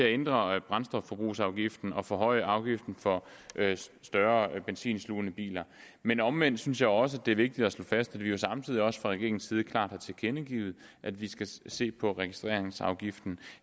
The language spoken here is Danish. ændre brændstofforbrugsafgiften og forhøje afgiften for større benzinslugende biler men omvendt synes jeg også at det er vigtigt at slå fast at vi jo samtidig fra regeringens side klart har tilkendegivet at vi skal se på registreringsafgiften